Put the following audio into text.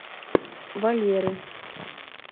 валеры